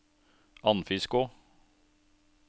Andfiskå